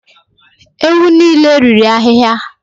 Ewu niile riri ahịhịa.